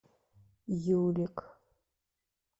юлик